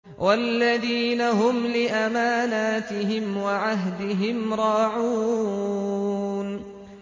وَالَّذِينَ هُمْ لِأَمَانَاتِهِمْ وَعَهْدِهِمْ رَاعُونَ